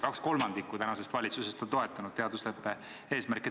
Kaks kolmandikku tänasest valitsusest on toetanud teadusleppe eesmärke.